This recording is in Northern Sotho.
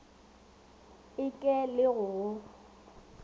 e ke le go go